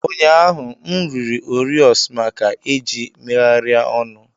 Ụnyaahụ, m riri Oreos maka eji megharịa ọnụ.